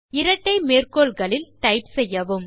இரட்டை மேற்கோள்களுள் டைப் செய்யவும்